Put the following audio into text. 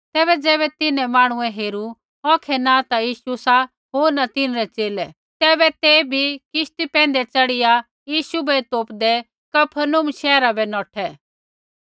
तैबै ज़ैबै तिन्हैं मांहणुऐ हेरू औखै न ता यीशु सा होर न तिन्हरै च़ेले तैबै ते बी किश्ती पैंधै च़ढ़िया यीशु बै तोपदै कफरनहूम शैहरा बै नौठै